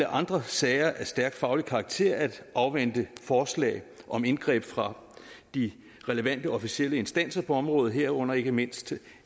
andre sager af stærk faglig karakter at afvente forslag om indgreb fra de relevante officielle instanser på området herunder ikke mindst